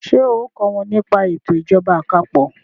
ṣe o kò wón ní pa eto ìjọba àpapọ̀?